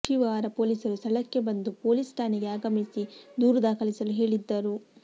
ಒಶಿವಾರಾ ಪೊಲೀಸರು ಸ್ಥಳಕ್ಕೆ ಬಂದು ಪೊಲೀಸ್ ಠಾಣೆಗೆ ಆಗಮಿಸಿ ದೂರು ದಾಖಲಿಸಲು ಹೇಳಿದ್ದರು